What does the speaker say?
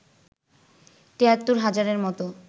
৭৩ হাজারের মতো